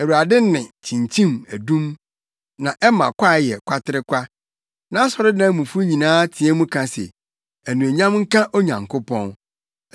Awurade nne kyinkyim adum na ɛma kwae yɛ kwaterekwa. Nʼasɔredan mufo nyinaa teɛ mu ka se, “Anuonyam nka Onyankopɔn!”